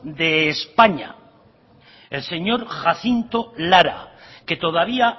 de españa el señor jacinto lara que todavía